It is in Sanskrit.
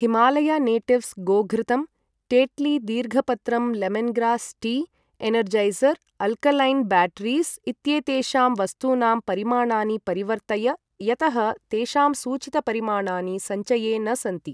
हिमालया नेटिव्स् गोघृतम्, टेट्ली दीर्घपत्रं lemongrass tea Energizer alkaline batteries इत्येतेषां वस्तूनां परिमाणानि परिवर्तय यतः तेषां सूचितपरिमाणानि सञ्चये न सन्ति।